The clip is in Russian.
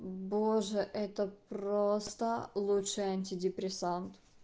боже это просто лучший антидепрессант